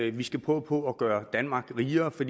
at vi skal prøve på at gøre danmark rigere for